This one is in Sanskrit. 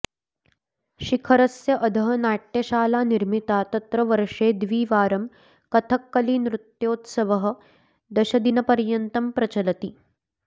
शिखरस्य अधः नाट्यशाला निर्मिता तत्र वर्षे द्विवारं कथक्कली नृत्योत्सवः दशदिनपर्यन्तं प्रचलति